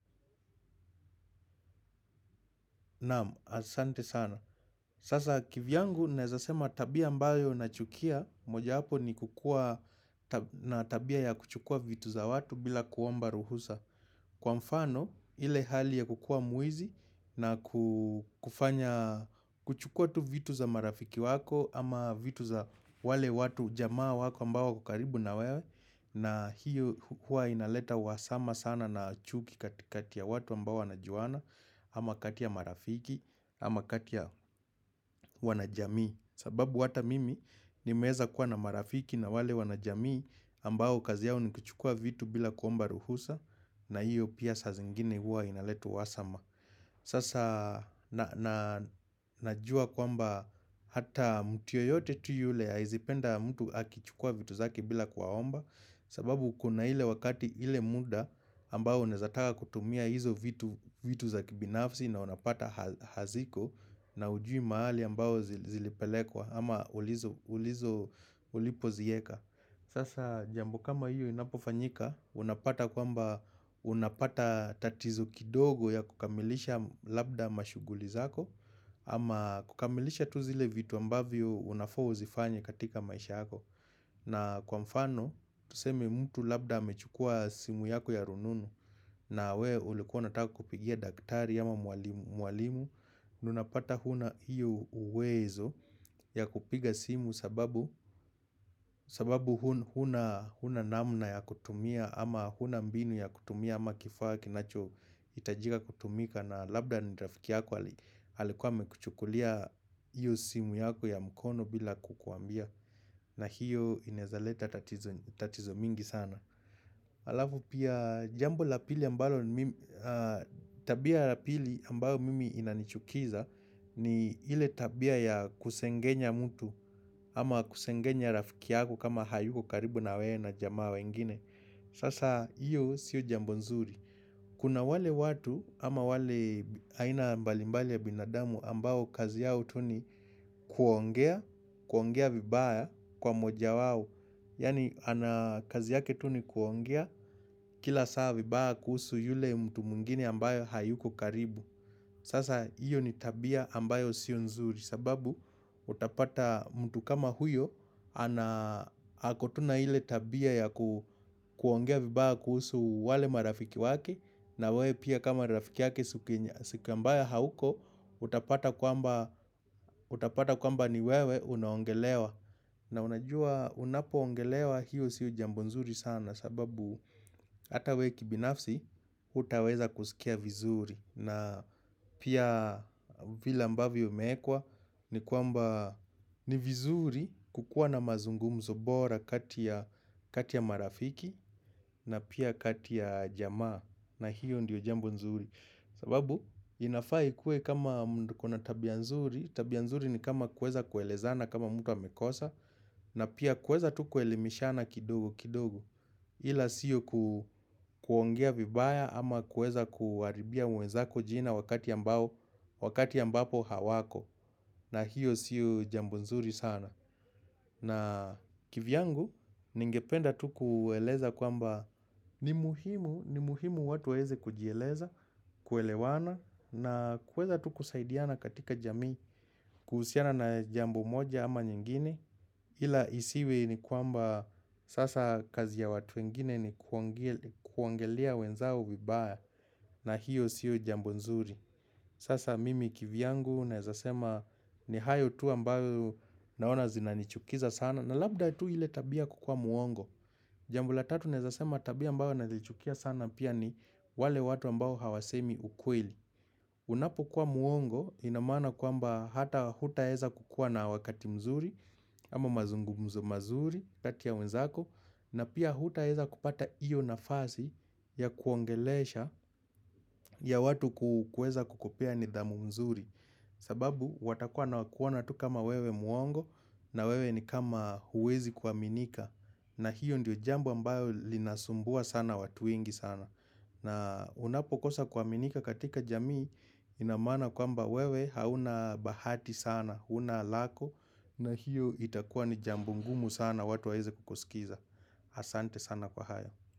Naam, asante sana. Sasa kivyangu naweza sema tabia ambayo nachukia mojawapo ni kukuwa na tabia ya kuchukua vitu za watu bila kuomba ruhusa. Kwa mfano, ile hali ya kukuwa mwizi na ku kufanya, kuchukua tu vitu za marafiki wako ama vitu za wale watu, jamaa wako ambao wako karibu na wewe. Na hiyo huwa inaleta uhasama sana na chuki kati ya watu ambao wanajuana ama kati ya marafiki ama kati ya wanajamii sababu hata mimi nimeweza kuwa na marafiki na wale wanajamii ambao kazi yao ni kuchukua vitu bila kuomba ruhusa na hiyo pia saa zingine huwa inaleta uhasama. Sasa najua kwamba hata mtu yeyote tu yule hawezi penda mtu akichukua vitu zake bila kuwaomba. Sababu kuna ile wakati ile muda ambao unaweza taka kutumia hizo vitu za kibinafsi na unapata haziko na haujui mahali ambao zilipelekwa ama ulipoziweka. Sasa jambo kama hiyo inapofanyika, unapata kwamba unapata tatizo kidogo ya kukamilisha labda mashughuli zako ama kukamilisha tu zile vitu ambavyo unafaa uzifanye katika maisha yako. Na kwa mfano, tuseme mtu labda amechukua simu yako ya rununu na wewe ulikuwa unataka kupigia daktari ama mwalimu na unapata hauna hiyo uwezo ya kupiga simu sababu sababu hauna namna ya kutumia ama hauna mbinu ya kutumia ama kifaa kinachohitajika kutumika na labda ni rafiki yako alikuwa amekuchukulia hiyo simu yako ya mkono bila kukuambia na hiyo inaweza leta tatizo tatizo mingi sana Alafu pia jambo la pili ambalo mimi tabia ya pili ambayo mimi inanichukiza ni ile tabia ya kusengenya mtu ama kusengenya rafiki yako kama hayuko karibu na wewe na jamaa wengine Sasa hiyo siyo jambo nzuri Kuna wale watu ama wale aina mbalimbali ya binadamu ambao kazi yao tu ni kuongea, kuongea vibaya kwa mmoja wao. Yaani kazi yake tu ni kuongea kila saa vibaya kuhusu yule mtu mwingine ambayo hayuko karibu. Sasa hiyo ni tabia ambayo siyo nzuri sababu utapata mtu kama huyo ako tu na ile tabia ya kuongea vibaa kuhusu wale marafiki wake na wewe pia kama rafiki yake siku ambaye hauko Utapata kwamba utapata kwamba ni wewe unaongelewa na unajua unapoongelewa hiyo siyo jambo nzuri sana sababu hata wewe kibinafsi hautaweza kusikia vizuri na pia vile ambavyo umewekwa ni kwamba ni vizuri kukuwa na mazungumzo bora kati ya kati ya marafiki na pia kati ya jamaa na hiyo ndiyo jambo nzuri. Sababu inafaa ikuwe kama mtu ako na tabia nzuri, tabia nzuri ni kama kuweza kuelezana kama mtu amekosa na pia kuweza tu kuelimishana kidogo kidogo. Ila siyo kuongea vibaya ama kuweza kuharibia wenzako jina wakati ambao wakati ambapo hawako na hiyo siyo jambo nzuri sana na kivyangu ningependa tu kueleza kwamba ni muhimu ni muhimu watu waweze kujieleza, kuelewana, na kuweza tu kusaidiana katika jamii kuhusiana na jambo moja ama nyingine ila isiwe ni kwamba sasa kazi ya watu wengine ni kuongelea wenzao vibaya na hiyo siyo jambo nzuri. Sasa mimi kivyangu naweza sema ni hayo tu ambayo naona zinanichukiza sana na labda tu ile tabia kukuwa mwongo. Jambo la tatu naweza sema tabia ambayo nazichukia sana pia ni wale watu ambao hawasemi ukweli. Unapokuwa mwongo ina maana kwamba hata hutaweza kukuwa na wakati mzuri ama mazungumzo mazuri kati ya wenzako. Na pia hutaweza kupata hiyo nafasi ya kuongelesha ya watu kuweza kukupea nidhamu mzuri sababu watakuwa wanakuona tu kama wewe mwongo na wewe ni kama huwezi kuaminika na hiyo ndiyo jambo ambayo linasumbua sana watu wengi sana na unapokosa kuaminika katika jamii ina maana kwamba wewe hauna bahati sana hauna lako na hiyo itakuwa ni jambo ngumu sana watu waweze kukusikiza Asante sana kwa hayo.